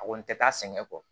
A kɔni tɛ taa sɛgɛn kɔ